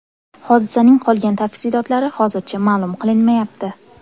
Hodisaning qolgan tafsilotlari hozircha ma’lum qilinmayapti.